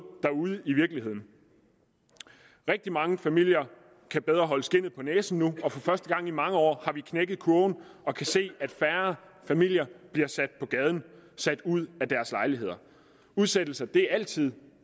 derude i virkeligheden rigtig mange familier kan bedre holde skindet på næsen nu og for første gang i mange år har vi knækket kurven og kan se at færre familier bliver sat på gaden sat ud af deres lejlighed udsættelser er altid